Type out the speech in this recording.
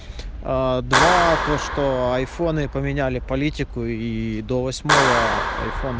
аа два то что айфоны поменяли политику и до восьмого айфона